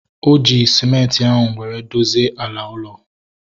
O ji sịmenti ahu were dozie ala ụlọ